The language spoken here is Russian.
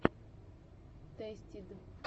тэстид